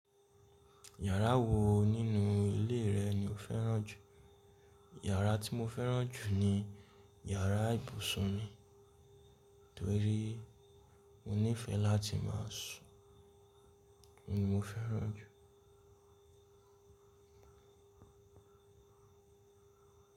Yàrá wo nínú ilé rẹ̀ ni o fẹ́ràn jù? Yàrá tí mo fẹ́ràn jù ni yàrá ibùsùn mi, torí mo nífẹ̀ẹ́ láti máa sùn, òhun ni mo fẹ́ràn jù.